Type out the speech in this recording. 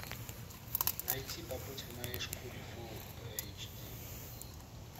найти побудь в моей шкуре фул эйч ди